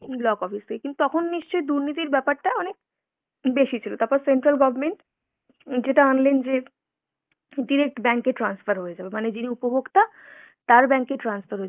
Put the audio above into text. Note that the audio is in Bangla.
block office থেকে, কিন্তু তখন নিশ্চই দুর্নীতির ব্যাপারটা অনেক বেশি ছিল। তারপর central government যেটা আনলেন যে direct bank এ transfer হয়ে যাবে। মানে যিনি উপভোক্তা তার bank এ transfer হয়ে যাবে।